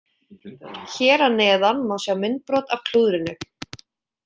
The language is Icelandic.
Hér að neðan má sjá myndbrot af klúðrinu.